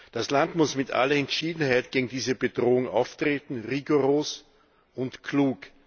Das Land muss mit aller Entschiedenheit gegen diese Bedrohung auftreten rigoros und klug.